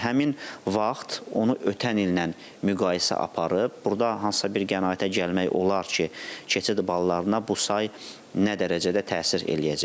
Həmin vaxt onu ötən il ilə müqayisə aparıb, burda hansısa bir qənaətə gəlmək olar ki, keçid ballarına bu say nə dərəcədə təsir eləyəcəkdir.